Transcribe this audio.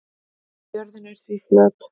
jörðin er því flöt